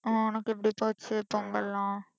அஹ் உனக்கு எப்படி போச்சு பொங்கல்லாம்